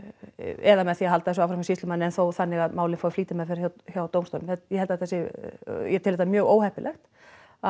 eða með því að halda þessu áfram hjá sýslumanni en þó þannig að málið fái flýtimeðferð hjá dómstólum ég held að þetta sé ég tel þetta mjög óheppilegt að